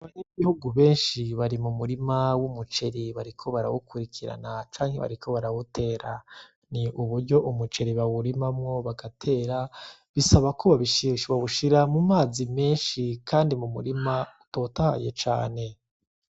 Abanyagihugu benshi bari mu murima w'umuceri, bariko barawukurikirana canke bariko barawutera n'uburyo umuceri bawurimamwo bagatera bisabako bawushira mu mazi menshi kandi n'umurima utotahaye cane.